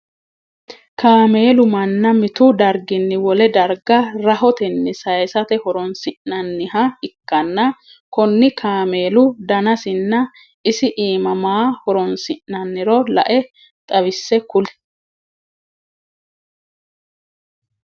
Kaameelu manna mitu darginni wole darga rahotenni sayisate horoonsi'nanniha ikkanna konni kameelu dannasinna isi iima maa horoonsi'nanniro lae xawise kuli?